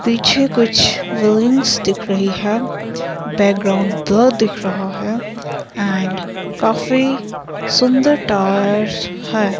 पीछे कुछ बिल्डिंग्स दिख रही है बैकग्राउंड ब्लर्र दिख रहा है एंड काफी सुंदर टायर्स है।